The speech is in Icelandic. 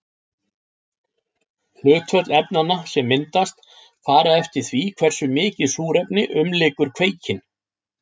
Hlutföll efnanna sem myndast fara eftir því hversu mikið súrefni umlykur kveikinn.